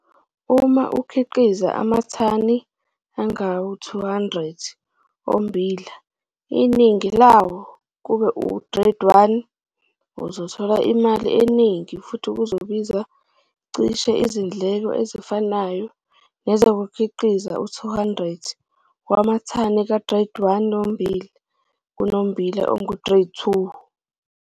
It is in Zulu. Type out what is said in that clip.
Uma ukhiqiza amathani angama-200 ommbila iningi lawo kube u-grade 1 uzothola imali eningi futhi kuzokubiza cishe izindleko ezifanayo nezokukhiqiza u-200 wamathani ka-grade 1 wommbila kunommbila ongu-grade 2.